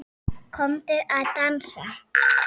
Komdu að dansa